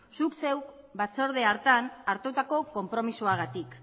zuk zeuk batzorde hartan hartutako konpromisoagatik